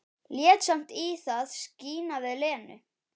Lét samt í það skína við Lenu.